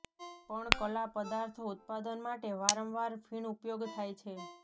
પણ કલા પદાર્થો ઉત્પાદન માટે વારંવાર ફીણ ઉપયોગ થાય છે